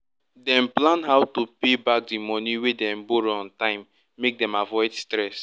dem plan how to pay back di money wey dem borrow on time make dem avoid stres